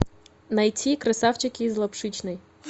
найти красавчики из лапшичной